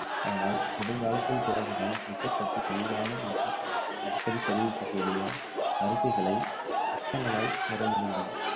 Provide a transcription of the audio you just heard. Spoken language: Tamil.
ஆனால் நெடுங்காலத்திற்கு பிறகுதான் cricket பற்றி தெளிவான மற்றும் அடிக்கடி தெளிவிக்ககூடிய அறிக்கைகளை அச்சகங்களால் பெற முடிந்தது.